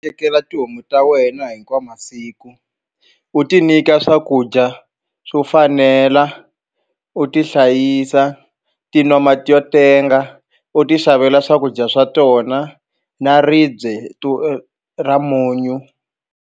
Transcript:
Tekela tihomu ta wena hinkwawo masiku u ti nyika swakudya swo fanela u ti hlayisa ti nwa mati yo tenga u ti xavela swakudya swa tona na ribye ra munyu.